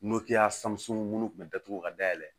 munnu kun be datugu ka dayɛlɛ